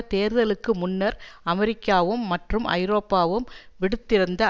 தேர்தலுக்கு முன்னர் அமெரிக்காவும் மற்றும் ஐரோப்பாவும் விடுத்திருந்த